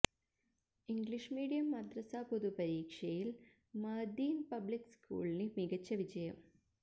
English medium മദ്രസ പൊതുപരീക്ഷയില് Madin public സ്കൂളിന് മികച്ച വിജയം